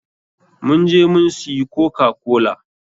mun je mun suyi kokakola.